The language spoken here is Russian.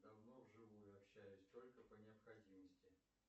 давно в живую общаюсь только по необходимости